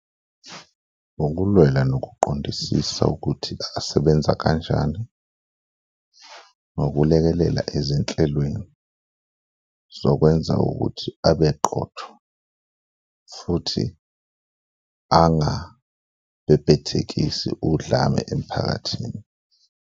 Ukulwela nokuqondisisa ukuthi asebenza kanjani nokulekelela ezinhlelweni zokwenza ukuthi abe qotho futhi angabhebhethekisi udlame emphakathini.